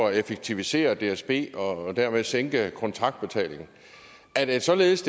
at effektivisere dsb og dermed sænkede kontraktbetalingen er det således